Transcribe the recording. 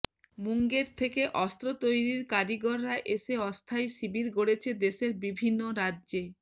মুঙ্গের থেকে অস্ত্র তৈরির কারিগররা এসে অস্থায়ী শিবির গড়ছে দেশের বিভিন্ন রাজ্যে